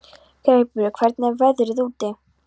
Greipur, hvernig er veðrið úti?